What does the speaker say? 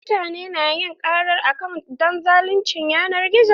Mutane su na yin karar akant don zaluncin yanar gizo.